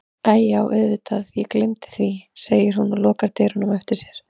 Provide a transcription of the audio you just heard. Æi já auðvitað ég gleymdi því, segir hún og lokar dyrunum á eftir sér.